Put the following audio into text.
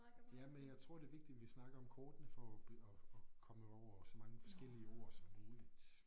Jamen jeg tror det vigtigt vi snakker om kortene for at at at komme over så mange forskellige ord som muligt